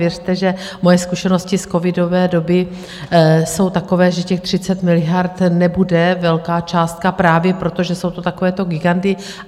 Věřte, že moje zkušenosti z covidové doby jsou takové, že těch 30 miliard nebude velká částka právě proto, že jsou to takovéto giganty.